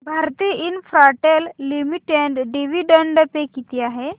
Bharti Infratel Limited dividend pay किती आहे